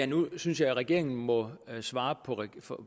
nu synes jeg at regeringen må svare